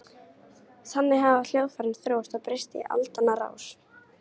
Þannig hafa hljóðfærin þróast og breyst í aldanna rás.